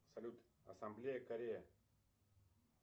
салют ассамблея корея